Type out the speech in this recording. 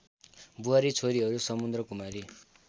बुहारी छोरीहरू समुद्रकुमारी